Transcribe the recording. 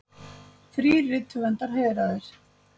Þrír rithöfundar heiðraðir